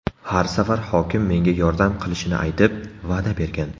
Har safar hokim menga yordam qilishini aytib, va’da bergan.